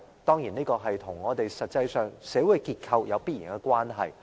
當然，這與我們實際上的社會結構有必然關係。